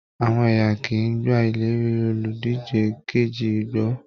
Àwọn èèyàn kìí gbà ìlérí oludije kejì gbọ́.